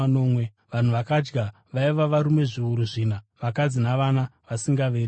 Vanhu vakadya vaiva varume zviuru zvina, vakadzi navana vasingaverengerwi.